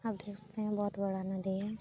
आप देख सकते हैं बहोत बड़ा नदी है।